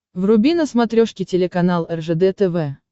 вруби на смотрешке телеканал ржд тв